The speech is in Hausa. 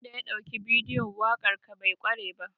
Wanda ya ɗauki bidiyon waƙar ka bai ƙware ba.